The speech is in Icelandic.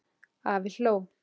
Afi hló.